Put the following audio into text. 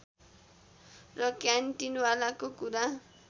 र क्यान्टिनवालाको कुरा